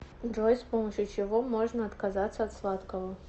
джой с помощью чего можно отказаться от сладкого